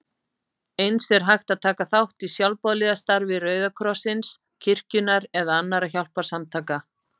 Eins er hægt að taka þátt í sjálfboðaliðastarfi Rauða krossins, kirkjunnar eða annarra hjálparsamtaka.